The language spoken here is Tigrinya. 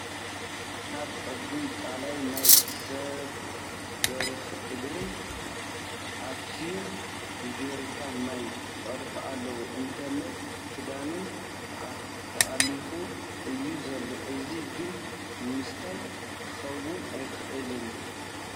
ኣብ ዐብይ ቓላይ ማይ ክሳብ ብርኪ እግረን ኣእትየን ብጀሪካን ማይ ይቐድሓ ኣለዋ እንተለ ኽዳነን ተኣሊኹ እዩ ዘሎ ፡ እዚ ግን ንምስታይ ክኸውን ኣይኽእልን ።